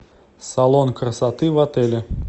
салон красоты в отеле